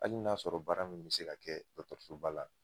Hali n 'a sɔrɔ baara min bi se ka kɛ dɔkɔtɔrɔsoba la